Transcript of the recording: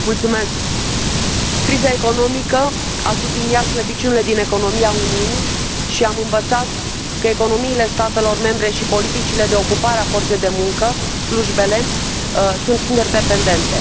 Domnule președinte, criza economică a subliniat slăbiciunile din economia Uniunii și am învățat că economiile statelor membre și politicile de ocupare a forței de muncă, slujbele, sunt interdependente.